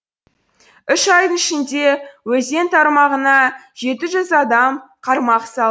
үш айдың ішінде өзен тармағына жеті жүз адам қармақ салды